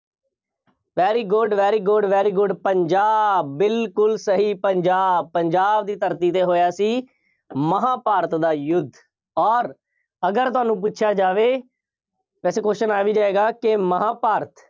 very good, very good, very good Punjab ਬਿਲਕੁੱਲ ਸਹੀ, ਪੰਜਾਬ, ਪੰਜਾਬ ਦੀ ਧਰਤੀ 'ਤੇ ਹੋਇਆ ਸੀ। ਮਹਾਂਭਾਰਤ ਦਾ ਯੁੱਧ ਅੋਰ ਅਗਰ ਤੁਹਾਨੂੰ ਪੁੱਛਿਆ ਜਾਵੇ set question ਆ ਵੀ ਜਾਏਗਾ ਕਿ ਮਹਾਂਭਾਰਤ